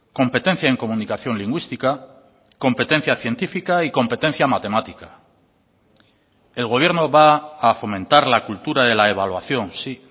competencia en comunicación lingüística competencia científica y competencia matemática el gobierno va a fomentar la cultura de la evaluación sí